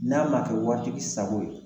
N'a ma kɛ waritigi sago ye